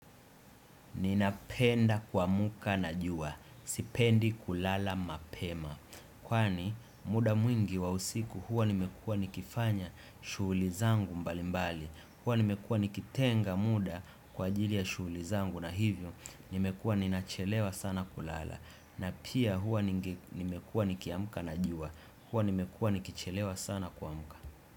Ninapenda kuamka na jua, sipendi kulala mapema. Kwani muda mwingi wa usiku huwa nimekuwa nikifanya shughuli zangu mbali mbali. Huwa nimekuwa nikitenga muda kwa ajili ya shughuli zangu na hivyo nimekuwa ninachelewa sana kulala. Na pia huwa ninge nimekuwa nikiamka na jua. Huwa nimekuwa nikichelewa sana kuamka.